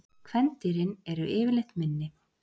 Kvendýrin eru yfirleitt minni.